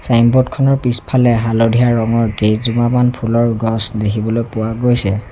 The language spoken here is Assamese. ছাইনবোৰ্ড খনৰ পিছফালে হালধীয়া ৰঙৰ কেইজোপামান ফুলৰ গছ দেখিবলৈ পোৱা গৈছে।